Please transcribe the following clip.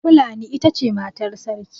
Fulani ita ce matar Sarki.